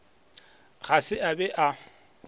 ga se a be a